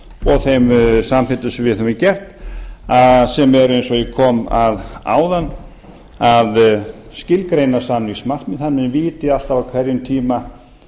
og þeim samþykktum sem við höfum get sem eru eins og ég kom að áðan að skilgreina samningsmarkmið þannig að menn viti alltaf á hverjum tíma